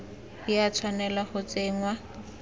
di a tshwanela go tsenngwa